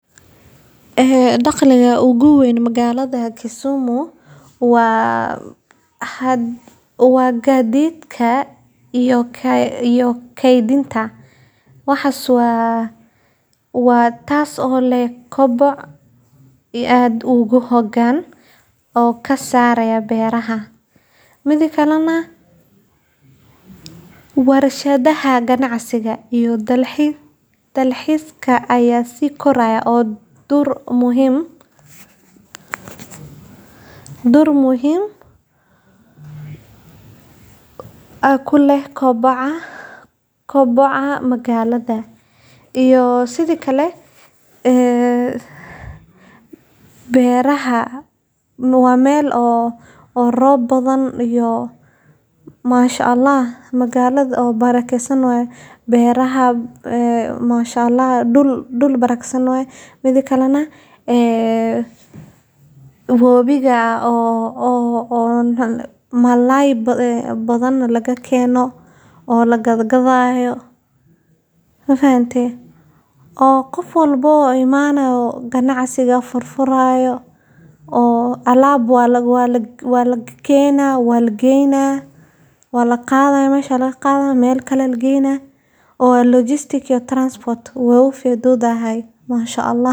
Maxa isha ugu weyn ee dakhliga magaalada Kisumu waa ganacsiga iyo kalluumeysiga. Kisumu, oo ku taalla galbeedka Kenya, waxay ku taagan tahay harada Victoria taasoo ka dhigaysa xarun muhiim ah oo kalluumeysi. Ganacsiga kalluunka, gaar ahaan nooca loo yaqaan 'Nile Perch', ayaa ah midka ugu badan ee dakhliga soo geliya magaalada. Sidoo kale, Kisumu waa xarun muhiim ah oo ganacsi oo isku xirta dalka